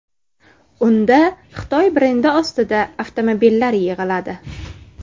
Unda Xitoy brendi ostida avtomobillar yig‘iladi.